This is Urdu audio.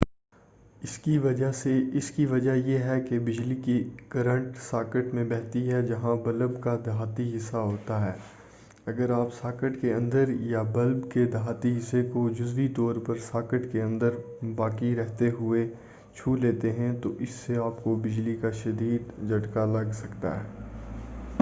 اس کی وجہ یہ ہے کہ بجلی کی کرنٹ ساکٹ میں بہتی ہے جہاں بلب کا دھاتی حصہ ہوتا ہے اگر آپ ساکٹ کے اندر یا بلب کے دھاتی حصے کو جزوی طورپر ساکٹ کے اندر باقی رہتے ہوئے ہی چھولیتے ہیں تو اس سے آپ کو بجلی کا شدید جھٹکا لگ سکتا ہے